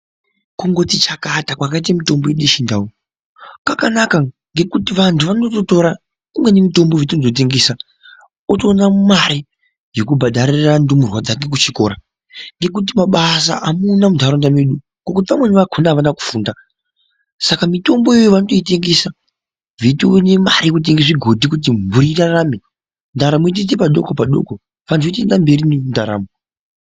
Kungoti chakata kwakaite mutombo yedu yechindau kwakanaka ngekuti vantu vanototora imweni mitombo vachitondotengesa otoona mare yekubhadharira ndumurwa dzake kuchikora ngekuti mabasa hamuna muntaraunda mwedu. Ngokuti vamweni vakona havana kufunda, saka mitombo iyoyo vanotoitengesa vantu veitoone mare yekutenga zvigodhi kuti mburi irarama, ndaramo yotoite padokopa-doko, vantu votoenda mberi nendaramo.